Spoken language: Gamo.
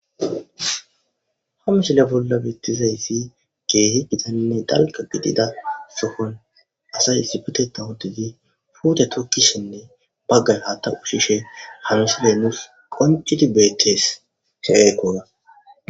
Ha misile bolla beeththizayssi keehi githanne dalgga gidida sohon asay issippetheththan uththidi puuthe thokkishenne baggay haaththa ushshishe ha misile nus qonccidi beeththes.